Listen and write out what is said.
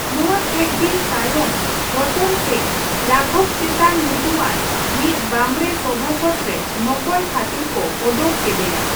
ᱱᱚᱣᱟ ᱠᱟᱹᱪ ᱫᱤᱱ ᱛᱟᱭᱚᱢ ᱨᱚᱛᱚᱱ ᱥᱮᱱ ᱨᱟᱜᱷᱚᱵ ᱪᱮᱛᱚᱱ ᱧᱩᱛᱩᱢᱟᱱ ᱢᱤᱫ ᱵᱟᱸᱵᱬᱮ ᱥᱚᱵᱷᱟᱥᱚᱫ ᱨᱮ ᱱᱚᱠᱚᱞ ᱠᱷᱟᱹᱛᱤᱨ ᱠᱚ ᱚᱰᱳᱠ ᱠᱮᱫᱮᱭᱟ ᱾